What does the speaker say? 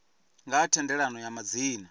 nga ha thendelano ya madzina